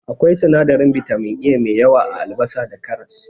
Akwai sinadarin bitamin A mai yawa a Albasa da karas.